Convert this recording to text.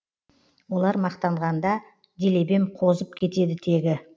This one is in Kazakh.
олар мақтанғанда делебем қозып кетеді тегі